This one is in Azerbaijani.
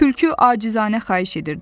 Tülkü acizanə xahiş edirdi.